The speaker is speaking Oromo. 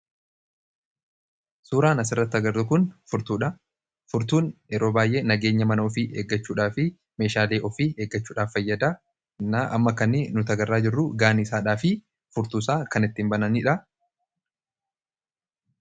Suuraan asirratti agarru kun furtuudha. Furtuun yeroo baay'ee nageenya mana ofii eeggachuudhaa fi meeshaalee ofii eeggachuudhaaf fayyada. Amma nuti kan agarru gaaniisaadhaafi furtuu isaa kan ittiin bananidha.